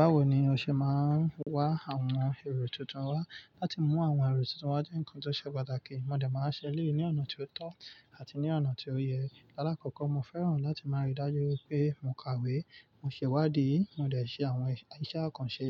Bawo ni o ṣe máa ń wá àwọn èrò tuntun wá? Lati mú àwọn èrò tuntun wá jẹ́ ǹkan tó ṣe pàtàkì. Mo dẹ̀ máa ń ṣe èleyi ní ọ̀nà ti o tọ́ àti ní ọ̀nà tí ó yẹ. Aláàkọ́kọ́, mo fẹ́ràn láti máa ríi dájú wipe mo kàwé, mo ṣe ìwádìí, mo dẹ̀ ṣe àwọn iṣẹ́ àkànṣe